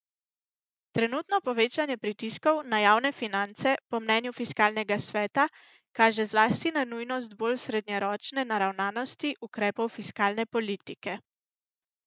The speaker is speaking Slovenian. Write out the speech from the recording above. Trenutno povečanje pritiskov na javne finance po mnenju fiskalnega sveta kaže zlasti na nujnost bolj srednjeročne naravnanosti ukrepov fiskalne politike.